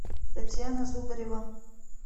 татьяна зубарева